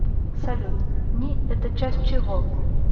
салют ни это часть чего